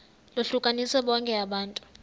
lohlukanise bonke abantu